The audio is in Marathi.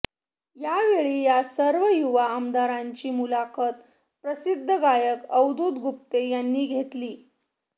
यावेळी या सर्व युवा आमदारांची मुलाखत प्रसिद्ध गायक अवधूत गुप्ते यांनी घेतली